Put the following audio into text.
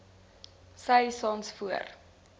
sy saans voor